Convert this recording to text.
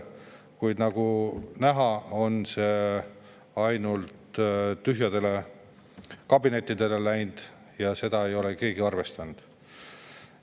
Kuid nagu näha, see jutt on ainult tühjadele kabinettidele läinud, seda ei ole keegi arvestanud.